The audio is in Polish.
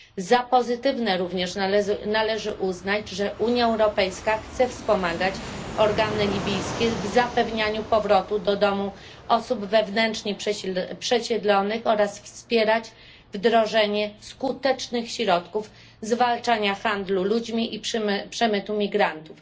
Za pozytywne również należy uznać, że Unia Europejska chce wspomagać organy libijskie w zapewnianiu powrotu do domu osób wewnętrznie przesiedlonych oraz wspierać wdrożenie skutecznych środków zwalczania handlu ludźmi i przemytu migrantów.